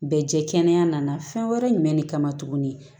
Bɛ jɛ kɛnɛya nana fɛn wɛrɛ jumɛn de kama tuguni